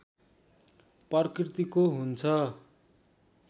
प्रकृतिको हुन्छ